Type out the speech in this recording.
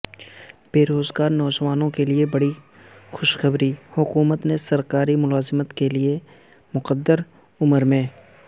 بے روزگارنوجوانوں کےلیے بڑی خوشخبری حکومت نے سرکاری ملازمت کے لیے مقرر ہ عمرمیں